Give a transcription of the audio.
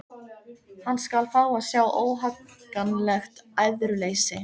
Hann skal fá að sjá óhagganlegt æðruleysi!